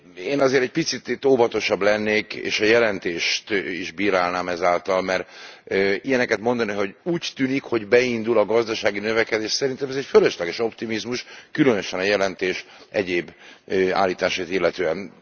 Én azért egy picit itt óvatosabb lennék, és a jelentést is bírálnám ezáltal, mert ilyeneket mondani, hogy úgy tűnik, hogy beindul a gazdasági növekedés, szerintem ez egy fölösleges optimizmus, különösen a jelentés egyéb állításait illetően.